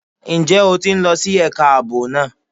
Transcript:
Ǹjẹ́ o ti ń lọ sí ẹ̀ka ààbò náà?